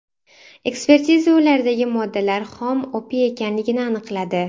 Ekspertiza ulardagi moddalar xom opiy ekanligini aniqladi.